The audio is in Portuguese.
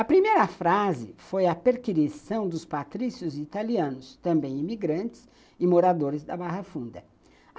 A primeira frase foi a perquisição dos patrícios italianos, também imigrantes e moradores da Barra Funda.